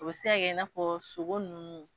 U se ka kɛ i n'a fɔ sogo ninnu